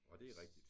Og det er rigtigt